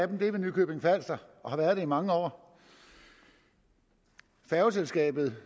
den ved nykøbing falster og har været det i mange år færgeselskabet